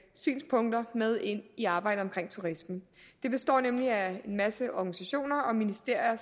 synspunkter med ind i arbejdet omkring turismen det består nemlig af en masse organisationer og ministerier